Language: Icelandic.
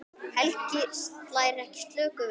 Helgi slær ekki slöku við.